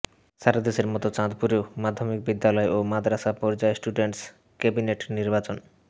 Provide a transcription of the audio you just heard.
সারাদেশের মতো চাঁদপুরেও মাধ্যমিক বিদ্যালয় ও মাদ্রাসা পর্যায়ে স্টুডেন্টস কেবিনেট নির্বাচন